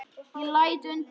Ég læt undan.